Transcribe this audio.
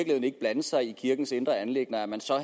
ikke blande sig i kirkens indre anliggender at man